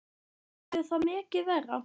Verður það mikið verra?